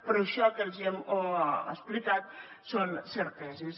però això que els hi hem explicat són certeses